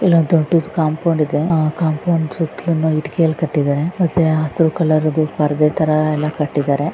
ಇಲ್ಲಿ ದೊಡ್ಡದು ಕಾಂಪೌಂಡ್ ಇದೆ ಆ ಕಾಂಪೌಂಡ್ ಸುತ್ತಲು ಇಟ್ಟಿಗೆ ಯಲಿ ಕಟ್ಟಿದಾರೆ ಮತ್ತೆ ಹೆಸರು ತರ ಪರದೆ ಎಲ್ಲ ಕಟ್ಟಿದ್ದಾರೆ .